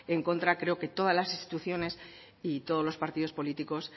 en contra creo que todas las instituciones y todos los partidos políticos